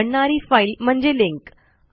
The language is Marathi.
बनणारी फाईल म्हणजे लिंक